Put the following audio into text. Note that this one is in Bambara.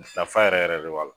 Nafa yɛrɛ yɛrɛ de b'a la.